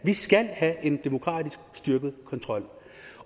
skal have en demokratisk styrket kontrol